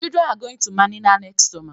The children are going to Manila next summer